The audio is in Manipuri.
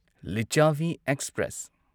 ꯂꯤꯆꯥꯚꯤ ꯑꯦꯛꯁꯄ꯭ꯔꯦꯁ